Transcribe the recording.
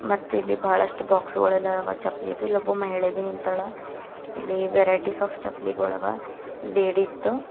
ಮತ್ತಿಲ್ಲಿ ಬಹಳಷ್ಟು ಬಾಕ್ಸ ಗೋಳ ಎಲ್ಲಾ ಆವಾ ಚಪ್ಪಲಿದು ಇಲ್ಲಿ ಒಬ್ಬ ಮಹಿಳೆಬಿ ನಿಂತಾಳ ಇಲ್ಲಿ ವೇರೈಟೀ ಸ ಆಪ್ ಚಪ್ಪಲಿಗೋಳ ಆವಾ ಲೇಡೀಸ್ ದು--